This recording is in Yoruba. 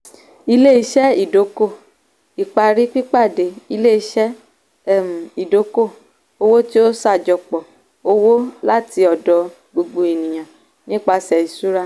ilé-iṣẹ́ ìdókò-ìparí pípàdé - ilé-iṣẹ́ um ìdókò-owó tí ó ṣàjọpọ̀ owó láti ọ̀dọ̀ gbogbo ènìyàn nipasẹ̀ ìṣúra.